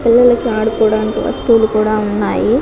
పిల్లలకి ఆడుకోవడానికి వస్తువులు కూడా ఉన్నాయి.